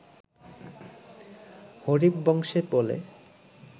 হরিবংশে বলে